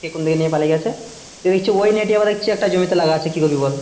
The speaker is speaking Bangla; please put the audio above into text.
কে কোন দিকে নিয়ে পালিয়ে গেছে দেখছি ওই net ই দেখছি আবার অন্য জমি তে লাগা আছে কি করবি বল